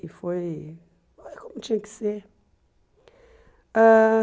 E foi como tinha que ser ãh.